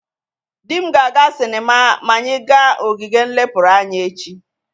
Di m ga-aga sinema ma anyị ga ogige nlepụrụ anya echi.